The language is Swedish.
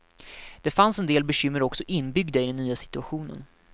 Det fanns en del bekymmer också inbyggda i den nya situationen.